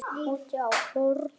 Úti á horni.